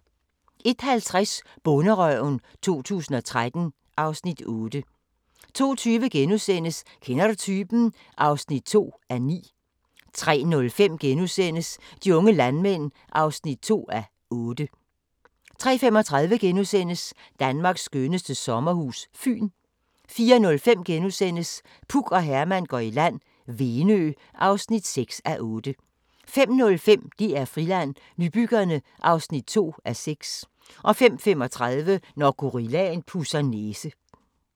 01:50: Bonderøven 2013 (Afs. 8) 02:20: Kender du typen? (2:9)* 03:05: De unge landmænd (2:8)* 03:35: Danmarks skønneste sommerhus – Fyn * 04:05: Puk og Herman går i land - Venø (6:8)* 05:05: DR Friland: Nybyggerne (2:6) 05:35: Når gorillaen pudser næse